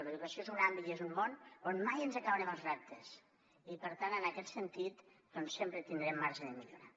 l’educació és un àmbit i és un món on mai ens acabarem els reptes i per tant en aquest sentit sempre tindrem marge de millora